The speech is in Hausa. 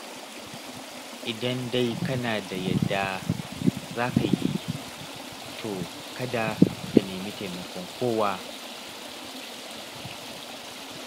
Idan dai kana da yadda za ka yi, to kada ka nemi taimakon kowa.